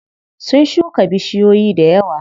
Sun shuka bishiyoyi dayawa.